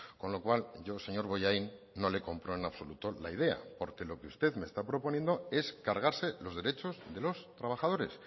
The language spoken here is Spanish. con lo cual yo señor bollain no le compro en absoluto la idea porque lo que usted me está proponiendo es cargarse los derechos de los trabajadores